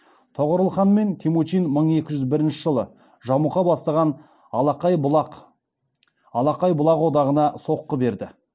тоғорыл хан мен темучин мың екі жүз бірінші жылы жамұқа бастаған алақай бұлақ одағына соққы берді